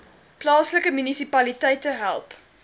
plaaslike munisipaliteite help